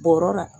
Bɔrɔ la